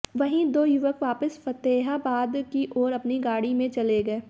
वहीं दो युवक वापिस फतेहाबाद की ओर अपनी गाड़ी में चले गये